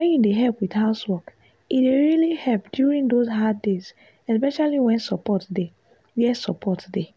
wen you help with housework e dey really help during those hard days especially where support dey. where support dey.